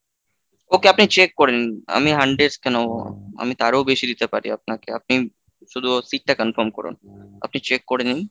Okay, আপনি check করে নিন আমি hundreds কেন আমি তারও বেশি দিতে পারি আপনাকে, আপনি শুধু seat টা confirm করুন আপনি check করে নিন।